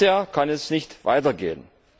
So wie bisher kann es nicht weitergehen!